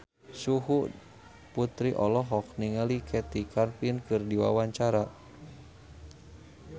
Terry Putri olohok ningali Kathy Griffin keur diwawancara